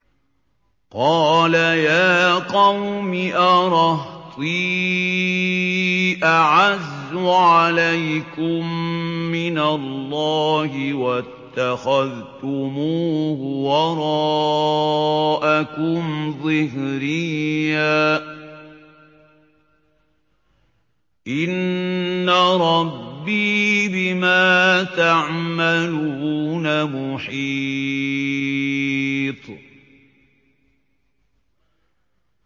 قَالَ يَا قَوْمِ أَرَهْطِي أَعَزُّ عَلَيْكُم مِّنَ اللَّهِ وَاتَّخَذْتُمُوهُ وَرَاءَكُمْ ظِهْرِيًّا ۖ إِنَّ رَبِّي بِمَا تَعْمَلُونَ مُحِيطٌ